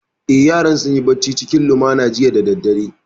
Eh, yaran sun yi bacci cikin lumana jiya da daddare